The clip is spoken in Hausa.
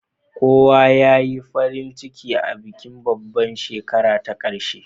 Kowa ya yi farin ciki a bikin babbar shekara ta ƙarshe